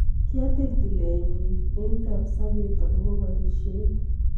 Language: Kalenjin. Katil tienet nyi eng kabasabet akobo borisiet